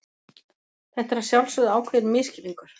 Þetta er að sjálfsögðu ákveðinn misskilningur.